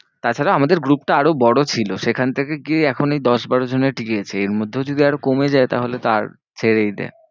তাছাড়া আমাদের group টা আরো বড় ছিল। সেখান থেকে গিয়ে এখন ওই দশ বারো জনে টিকে গেছি। এর মধ্যেও যদি আরও কমে যায় তাহলে তো আর ছেড়েই দে।